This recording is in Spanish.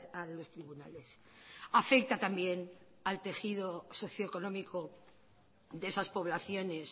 a los tribunales afecta también al tejido socioeconómico de esas poblaciones